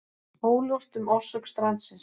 Óljóst um orsök strandsins